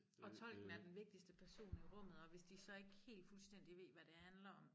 Og tolken er den vigtigeste person i rummet og hvis de så ikke helt fuldstændig ved hvad det handler om